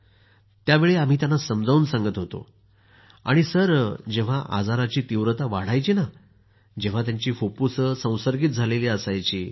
तेंव्हा आम्ही त्यांना समजावून सांगत होतो आणि सर जेंव्हा आजाराची तीव्रता वाढायची तेव्हा त्यांची फुफ्फुसं संसर्गित झालेली असत